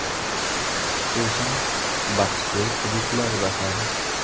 Xususan, bahsli hududlarda ham.